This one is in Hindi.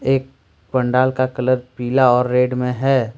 पंडाल का कलर पीला और रेड में है ।